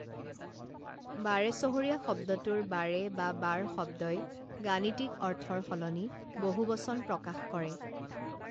বাৰেচহৰীয়া শব্দটোৰ বাৰে বা বাৰ শব্দই গাণিতিক অৰ্থৰ সলনি বহুবচন প্ৰকাশ কৰে